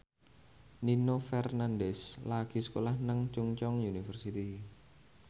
Nino Fernandez lagi sekolah nang Chungceong University